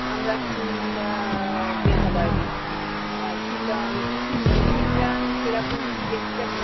আমরা উম আহ মেঘালয় গেছি। আহ শিলং- যেখানে মৌসিনরাম চেরাপুঞ্জি দেখতে ভীষণ~